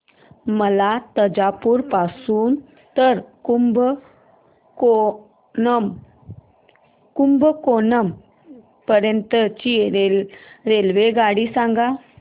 मला तंजावुर पासून तर कुंभकोणम पर्यंत ची रेल्वेगाडी सांगा